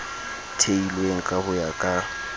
theilweng ka ho ya ka